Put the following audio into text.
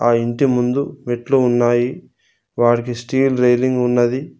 ఆ ఇంటి ముందు మెట్లు ఉన్నాయి వాటికి స్టీల్ రెలింగ్ ఉన్నది.